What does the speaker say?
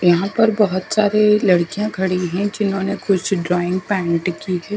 यहाँ पर बहत सारे लडकिया खड़ी है जिन्होंने कुछ ड्रॉइंग पैंट की है।